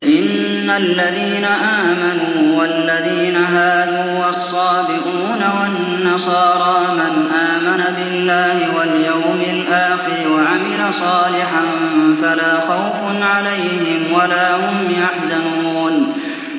إِنَّ الَّذِينَ آمَنُوا وَالَّذِينَ هَادُوا وَالصَّابِئُونَ وَالنَّصَارَىٰ مَنْ آمَنَ بِاللَّهِ وَالْيَوْمِ الْآخِرِ وَعَمِلَ صَالِحًا فَلَا خَوْفٌ عَلَيْهِمْ وَلَا هُمْ يَحْزَنُونَ